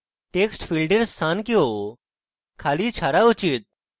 textfield we স্থান কেও খালি ছাড়া উচিত